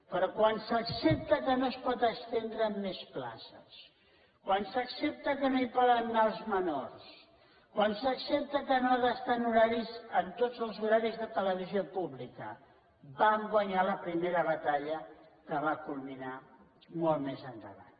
però quan s’accepta que no es poden estendre en més places quan s’accepta que no hi poden anar els menors quan s’accepta que no ha d’estar en tots els horaris de televisió pública vam guanyar la primera batalla que va culminar molt més endavant